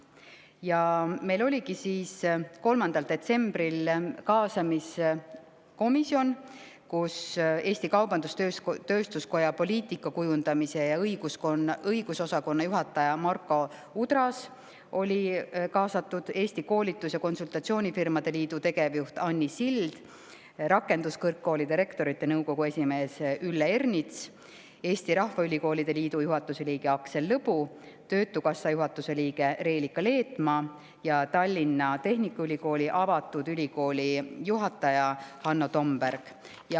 3. detsembril oligi meil kaasamiskomisjon, kuhu olid kaasatud Eesti Kaubandus-Tööstuskoja poliitikakujundamise ja õigusosakonna juhataja Marko Udras, Eesti Koolitus- ja Konsultatsioonifirmade Liidu Anni Sild, Rakenduskõrgkoolide Rektorite Nõukogu esimees Ülle Ernits, Eesti Rahvaülikoolide Liidu juhatuse liige Aksel Lõbu, töötukassa juhatuse liige Reelika Leetmaa ja Tallinna Tehnikaülikooli avatud ülikooli juhataja Hanno Tomberg.